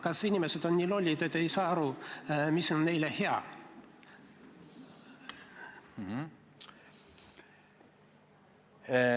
Kas inimesed on nii lollid, et ei saa aru, mis on neile hea?